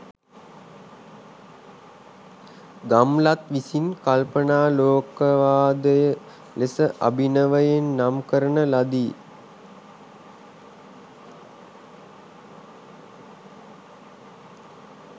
ගම්ලත් විසින් කල්පනාලෝකවාදය ලෙස අභිනවයෙන් නම් කරන ලදි.